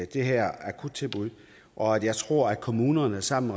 de her akuttilbud og jeg tror at kommunerne sammen